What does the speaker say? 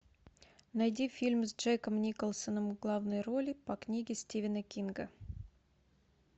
найди фильм с джеком николсоном в главной роли по книге стивена кинга